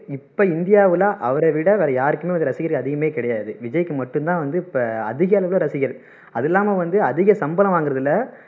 இப்போ இந்தியாவுல அவரை விட வேற யாருக்குமே வந்து ரசிகர் அதிகமே கிடையாது விஜய்க்கு மட்டும் தான் வந்து இப்போ அதிகளவில ரசிகர் அது இல்லாம வந்து அதிக சம்பளம் வாங்குறதுல